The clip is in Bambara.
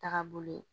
Taga bolo ye